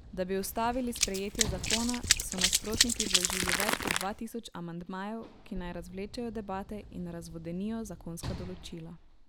Da bi ustavili sprejetje zakona, so nasprotniki vložili več kot dva tisoč amandmajev, ki naj razvlečejo debate in razvodenijo zakonska določila.